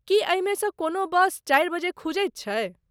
की एहिमे सँ कोनो बस चारि बजे खुजैत छै ?